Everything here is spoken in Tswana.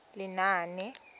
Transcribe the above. lenaane